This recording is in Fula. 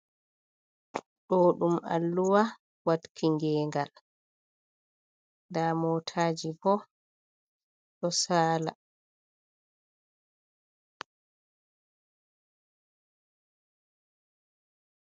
Ɗo ɗum alluwa watki ngengal l. Nɗa motaji ɓo ɗo Sala.